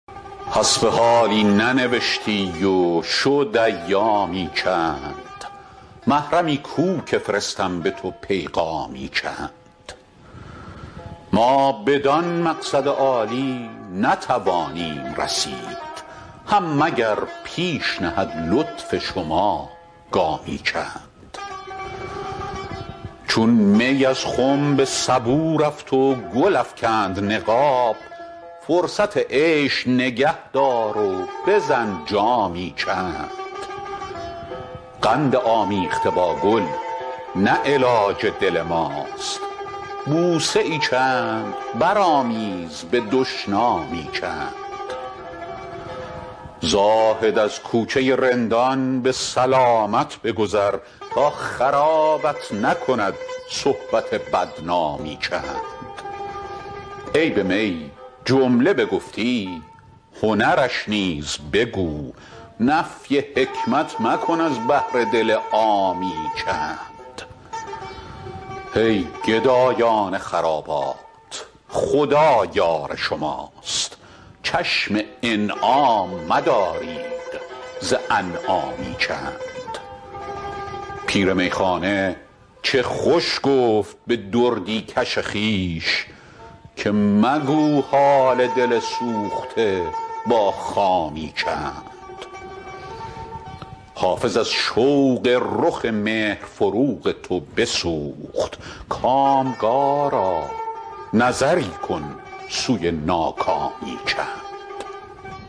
حسب حالی ننوشتی و شد ایامی چند محرمی کو که فرستم به تو پیغامی چند ما بدان مقصد عالی نتوانیم رسید هم مگر پیش نهد لطف شما گامی چند چون می از خم به سبو رفت و گل افکند نقاب فرصت عیش نگه دار و بزن جامی چند قند آمیخته با گل نه علاج دل ماست بوسه ای چند برآمیز به دشنامی چند زاهد از کوچه رندان به سلامت بگذر تا خرابت نکند صحبت بدنامی چند عیب می جمله چو گفتی هنرش نیز بگو نفی حکمت مکن از بهر دل عامی چند ای گدایان خرابات خدا یار شماست چشم انعام مدارید ز انعامی چند پیر میخانه چه خوش گفت به دردی کش خویش که مگو حال دل سوخته با خامی چند حافظ از شوق رخ مهر فروغ تو بسوخت کامگارا نظری کن سوی ناکامی چند